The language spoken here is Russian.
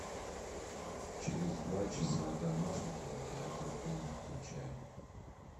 через два часа домашний кинотеатр в доме включай